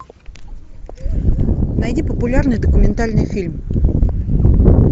найди популярный документальный фильм